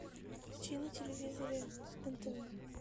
включи на телевизоре нтв